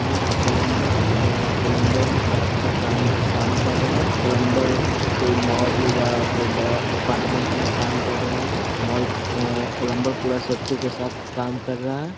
यहां प्लंबर है और ये प्लंबर पेप का काम काम कर रहा है। प्लंबर कोई मॉल या कोई बड़ा अपार्टमेंट में काम कर रहा है। मॉल अ प्लंबर पूरा सेफ्टी के साथ काम कर रहा है।